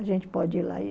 A gente pode ir lá e